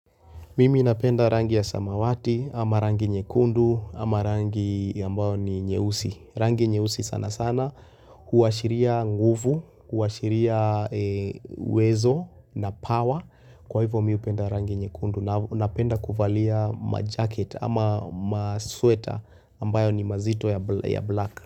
Mimi napenda rangi ya samawati ama rangi nyekundu ama rangi ambayo ni nyeusi. Rangi nyeussi sana sana huashiria nguvu, huashiria wezo na power. Kwa hivyo mimi hupenda rangi nyekundu na napenda kuvalia majaket ama masweta ambayo ni mazito ya black.